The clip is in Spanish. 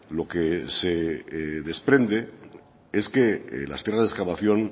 lo que se desprende es que las tierras de excavación